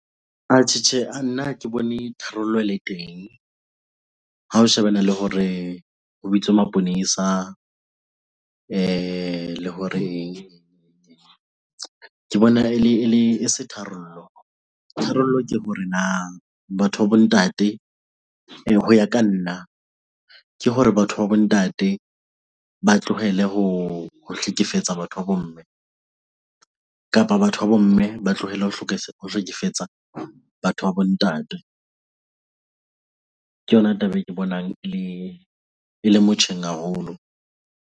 Atjhe, Tjhe. Nna ha ke bone tharollo e le teng ha ho shebana le hore ho bitswe maponesa le hore ke bona e se tharollo. Tharollo ke hore na batho ba bo ntate hoya ka nna, ke hore batho ba bo ntate ba tlohele ho hlekefetsa batho ba bo mme kapa batho ba bo mme ba tlohelle ho ho hlekefetsa batho ba bo ntate. Ke yona taba e ke bonang e le motjheng haholo.